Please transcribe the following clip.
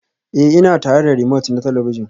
Ee, ina tare da romote na talabijin